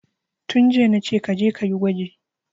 Tun jiya nace kaje kayi gwaji